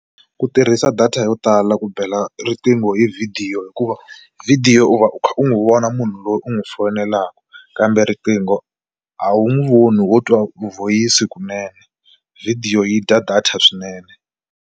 Ku tirhisa data yo tala ku bela riqingho hi vhidiyo hikuva vhidiyo u va u kha u n'wi vona munhu loyi u n'wi foyinelaka kambe riqingho a wu n'wi voni wo twa vhoyisi kunene, vhidiyo yi dya data swinene.